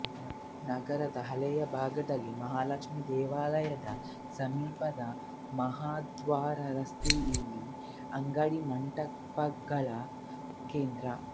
ನಗರದ ಹಳೆಯ ಭಾಗದಲ್ಲಿ ಮಹಾಲಕ್ಷ್ಮಿ ದೇವಾಲಯದ ಸಮೀಪದ ಮಹಾದ್ವಾರ ರಸ್ತೆ ಇಲ್ಲಿಯ ಅಂಗಡಿಮುಂಗಟ್ಟುಗಳ ಕೇಂದ್ರ